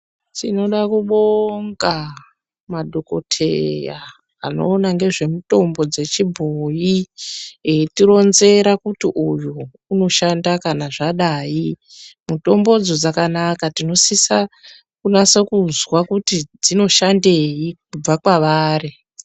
Tinoda kubonga madhokodheya anoona nezvemutombo wechibhoyi eitironzera kuti uyu unoshanda kana zvadai mitombodzo dzakanaka. Tinosisa kunyatso kunzwa dzinoshandei kubva kwavari.